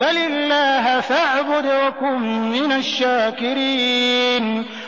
بَلِ اللَّهَ فَاعْبُدْ وَكُن مِّنَ الشَّاكِرِينَ